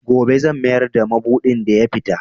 Gobe zan mayar da madubin da ya fita.